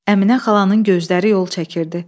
Əminə xalanın gözləri yol çəkirdi.